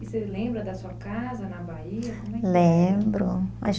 E você lembra da sua casa na Bahia? Como é que era? Lembro, acho